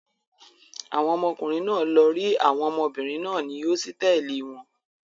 Àwọn ọmọkùnrin náà lọ rí àwọn ọmọbìnrin náà ní hósítẹ́ẹ́lì wọn.